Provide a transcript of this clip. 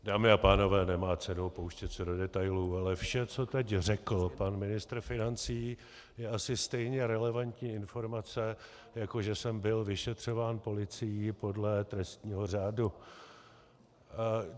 Dámy a pánové, nemá cenu pouštět se do detailů, ale vše, co teď řekl pan ministr financí, je asi stejně relevantní informace, jako že jsem byl vyšetřován policií podle trestního řádu.